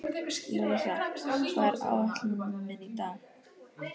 Louisa, hvað er á áætluninni minni í dag?